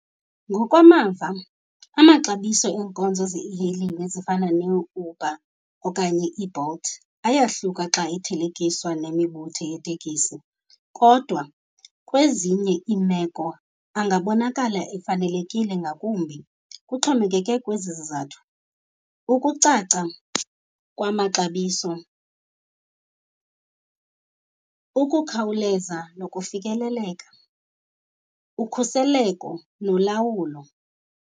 Ngokwamava amaxabiso eenkonzo ze-e-hailing ezifana neUber okanye iBolt ayahluka xa ethelekiswa nemibutho yeetekisi, kodwa kwezinye iimeko angabonakala efanelekile ngakumbi. Kuxhomekeke kwezi zizathu, ukucaca kwamaxabiso, ukukhawuleza nokufikeleleka, ukhuseleko nolawulo.